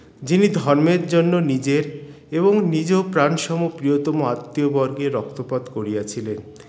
যিনি ধর্মের জন্য নিজের এবং নিজ প্রাণসম প্রীয়তম আত্মীয় বর্গের রক্তপাত করিয়াছিলেন